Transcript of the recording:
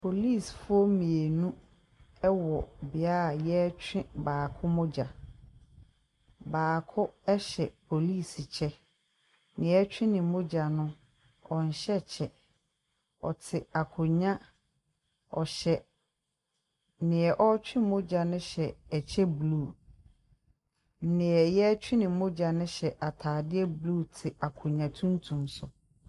Polisifoɔ mmienu wɔ beaeɛ a wɔretwe baako mogya. Baako hyɛ polisi kyɛ. Deɛ wɔretwe ne mogya no nhyɛ kyɛ. Ɔte akonnwa ɔhyɛ deɛ ɔretwe mogyano hyɛ ɛkyɛ blue. Deɛ wɔretwe ne mogya no hyɛ atadeɛ blue te akonnwa tuntum do.